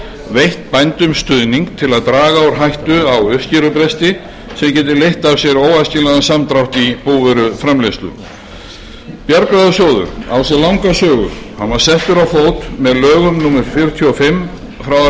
veitt bændum stuðning til að draga úr hættu á uppskerubresti sem geti leitt af sér óæskilegan samdrátt í búvöruframleiðslu bjargráðasjóður á sér langa sögu hann var settur á fót með lögum númer þrjátíu og fimm nítján